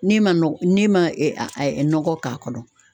N'e ma n'e ma nɔgɔ k'a kɔnɔ